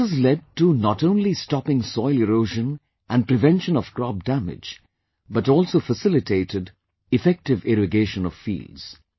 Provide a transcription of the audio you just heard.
This has led to not only stopping soil erosion & prevention of crop damage, but also facilitated effective irrigation of fields